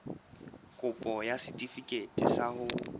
kopo ya setefikeiti sa ho